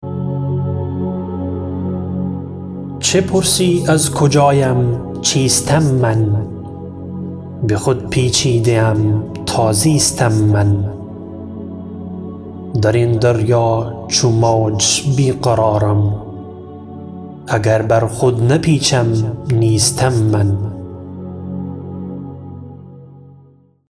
چه پرسی از کجایم چیستم من به خود پیچیده ام تا زیستم من درین دریا چو موج بیقرارم اگر بر خود نپیچم نیستم من